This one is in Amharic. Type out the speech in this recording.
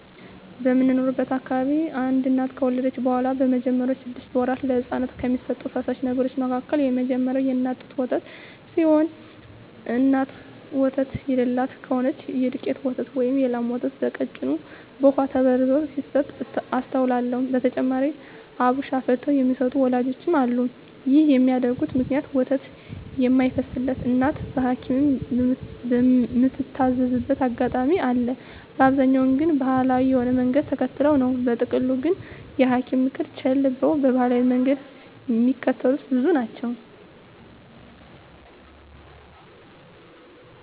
በምኖርበት አካባቢ አንድ እናት ከወለደች በኋላ በመጀመሪያወቹ ስድስት ወራት ለህጻናት ከሚሰጡ ፈሳሽ ነገሮች መካከል የመጀመሪያው የእናት ጡት ወተት ሲሆን እናት ወተት የለላት ከሆነች የዱቄት ወተት ወይም የላም ወተት በቀጭኑ በውሃ ተበርዞ ሲሰጥ አስተውላለው። በተጨማሪም አብሽ አፍልተው የሚሰጡ ወላጆችም አሉ። ይህን የሚያደርጉበት ምክንያት ወተት የማይፈስላት እናት በሀኪምም ምትታዘዝበት አጋጣሚ አለ፤ በአብዛኛው ግን ባሀላዊ የሆነውን መንገድ ተከትለው ነው። በጥቅሉ ግን የሀኪምን ምክር ቸለል ብለው ባሀላዊውን መንገድ ሚከተሉ ብዙ ናቸው።